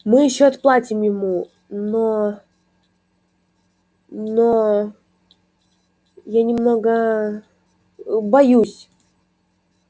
мы ещё отплатим ему но но я немного боюсь